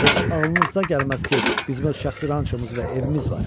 Heç ağlınıza gəlməz ki, bizim öz şəxsi rançımız və evimiz var.